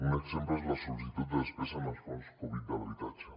un exemple és la sol·licitud de despesa en els fons covid de l’habitatge